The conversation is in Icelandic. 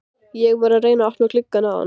Ég var að reyna að opna gluggann áðan.